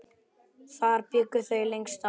Þar bjuggu þau lengst af.